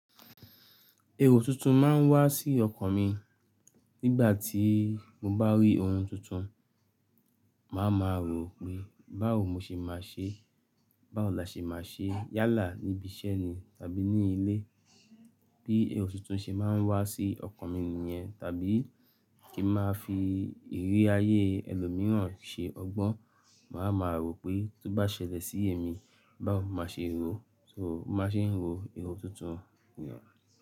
Ero tuntun máa ń wá sí ọkàn mi nígbà tí mo bá rí ohun tuntun. Máa ma rò pé báwo mo ṣe máa ṣe, báwo la ṣe máa ṣe yálà níbi iṣẹ́ ni tàbí ní ilé. Bí èrò tuntun ṣe máa ń wá sí ọkàn mi nìyẹn, tàbí kí n máa fi ìrírí ayé ẹlòmíràn ṣe ọgbọ́n. Máa ma rò pé tó bá ṣẹlẹ̀ sí èmi, báwo máà a ṣe ro, so ń báa ṣe ń ro ẹrú tuntun wùyà.